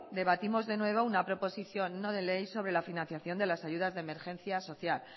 debatimos de nuevo una proposición no de ley sobre la financiación de las ayudas de emergencia social